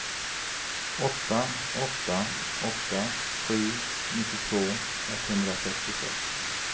åtta åtta åtta sju nittiotvå etthundrasextiosex